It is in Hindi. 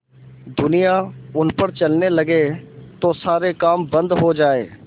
दुनिया उन पर चलने लगे तो सारे काम बन्द हो जाएँ